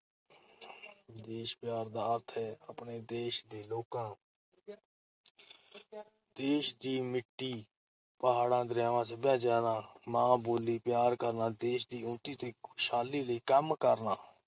ਦੇਸ਼ ਪਿਆਰ ਦਾ ਅਰਥ ਹੈ ਆਪਣੇ ਦੇਸ਼ ਦੇ ਲੋਕਾਂ, ਦੇਸ਼ ਦੀ ਮਿੱਟੀ, ਪਹਾੜਾਂ, ਦਰਿਆਵਾਂ, ਸੱਭਿਆਚਾਰ ਤੇ ਮਾਂ ਬੋਲੀ ਪਿਆਰ ਕਰਨਾ, ਦੇਸ਼ ਦੀ ਉੱਨਤੀ ਤੇ ਖੁਸ਼ਹਾਲੀ ਲਈ ਕੰਮ ਕਰਨਾ,